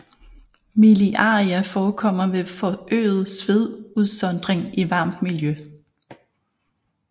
Miliaria forekommer ved forøget svedudsondring i varmt miljø